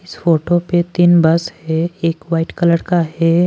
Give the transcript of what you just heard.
इस फोटो पे तीन बस है एक वाइट कलर का है।